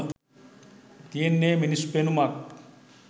තියෙන්නේ මිනිස් පෙනුමක්